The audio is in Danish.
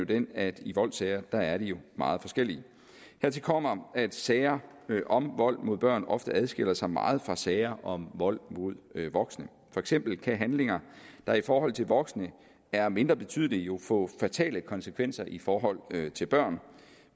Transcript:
den at i voldssager er er de jo meget forskellige hertil kommer at sager om vold mod børn ofte adskiller sig meget fra sager om vold mod voksne for eksempel kan handlinger der i forhold til voksne er mindre betydelige jo få fatale konsekvenser i forhold til børn